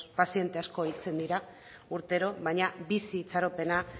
paziente asko hiltzen dira urtero baina bizi itxaropena